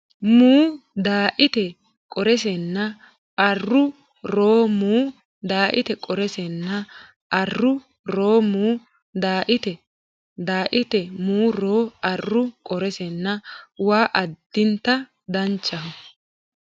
mu Daaite qoorseenna arru ro mu Daaite qoorseenna arru ro mu Daaite Daaite mu ro arru qoorseenna waa Addinta danchaho !